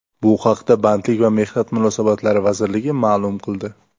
Bu haqda Bandlik va mehnat munosabatlari vazirligi ma’lum qildi.